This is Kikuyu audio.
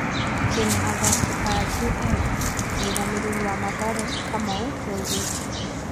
"Twĩna athaki aingĩ ethĩ" mũrũgamĩriri wa Mathare Kamau nĩaugĩte.